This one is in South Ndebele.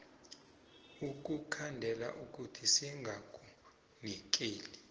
ukukhandela ukuthi singakunikeli